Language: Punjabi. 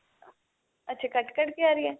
ਅੱਛਾ ਕੱਟ ਕੱਟ ਕੇ ਆ ਰਹੀ ਏ